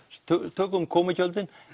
tökum komugjöldin